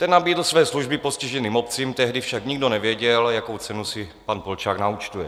Ten nabídl své služby postiženým obcím, tehdy však nikdo nevěděl, jakou cenu si pan Polčák naúčtuje.